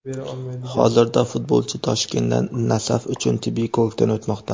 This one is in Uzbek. Hozirda futbolchi Toshkentda "Nasaf" uchun tibbiy ko‘rikdan o‘tmoqda.